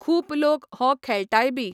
खूब लोक हो खेळटाय बी